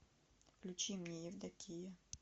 включи мне евдокия